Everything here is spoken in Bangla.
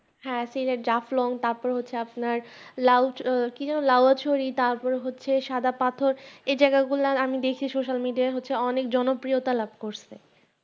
হ্যাঁ সিলেট জাফলং তারপরে হচ্ছে লাওকি যেন আপনার লোয়াছড়ি তার পর সাদাপাথর এই জায়গা গুলা আমি দেখছি Social-media জনপ্রিয়তা লাভ করছে